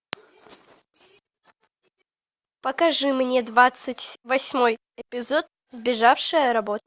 покажи мне двадцать восьмой эпизод сбежавшая работа